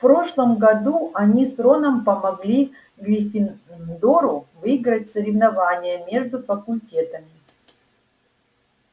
в прошлом году они с роном помогли гриффиндору выиграть соревнование между факультетами